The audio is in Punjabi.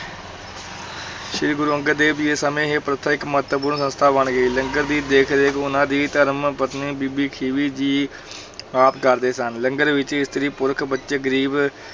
ਸ੍ਰੀ ਗੁਰੂ ਅੰਗਦ ਦੇਵ ਜੀ ਦੇ ਸਮੇ ਇਹ ਪ੍ਰਥਾ ਇੱਕ ਮਹੱਤਵਪੂਰਨ ਸੰਸਥਾ ਬਣ ਗਈ, ਲੰਗਰ ਦੀ ਦੇਖ-ਰੇਖ ਉਹਨਾਂ ਦੀ ਧਰਮਪਤਨੀ ਬੀਬੀ ਖੀਵੀ ਜੀ ਆਪ ਕਰਦੇ ਸਨ, ਲੰਗਰ ਵਿੱਚ ਇਸਤਰੀ, ਪੁਰਖ, ਬੱਚੇ, ਗ਼ਰੀਬ,